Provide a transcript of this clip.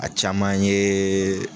A caman yee